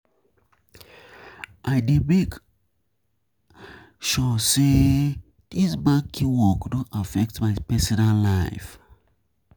I dey make I dey make sure sey dis banking work no affect my personal life.